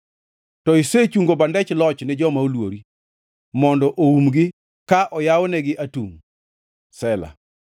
To isechungo bandech loch ni joma oluori mondo oumgi ka oywanegi atungʼ. Sela